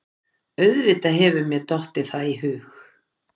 Auðvitað hefur mér dottið það í hug.